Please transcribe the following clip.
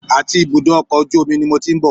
Àti ibùdó ọkọ̀ ojú omi ni mo ti ń bọ̀